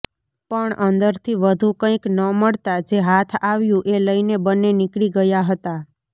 પણ અંદરથી વધુ કંઇ ન મળતાં જે હાથ આવ્યું એ લઇને બંને નીકળી ગયા હતાં